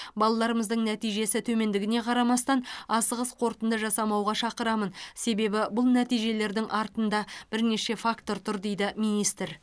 балаларымыздың нәтижесі төмендігіне қарамастан асығыс қорытынды жасамауға шақырамын себебі бұл нәтижелердің артында бірнеше фактор тұр дейді министр